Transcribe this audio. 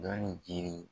Dɔnni jiri